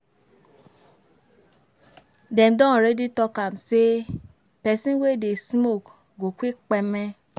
Dem don already talk am say pesin wey dey smoke go quick kpeme.